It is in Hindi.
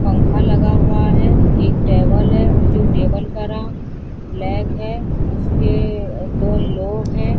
पंख लगा हुआ है एक टेबल है वो जो टेबल का रां ब्लैक है उसके दो लोग हैं।